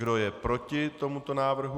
Kdo je proti tomuto návrhu?